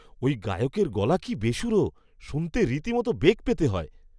ওই গায়কের গলা কি বেসুরো! শুনতে রীতিমতো বেগ পেতে হয়।